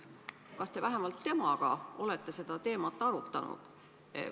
Kas te vähemalt temaga olete seda teemat arutanud?